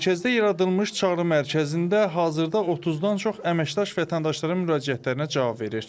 Mərkəzdə yaradılmış çağrı mərkəzində hazırda 30-dan çox əməkdaş vətəndaşların müraciətlərinə cavab verir.